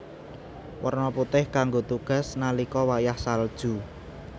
Werna putih kanggo tugas nalika wayah salju